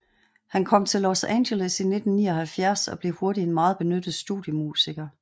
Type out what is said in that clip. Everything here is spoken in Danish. Han kom til Los Angeles i 1979 og blev hurtigt en meget benyttet studiemusiker